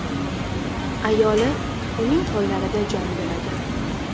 Ayoli uning qo‘llarida jon beradi.